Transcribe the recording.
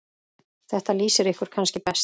Þetta lýsir ykkur kannski best.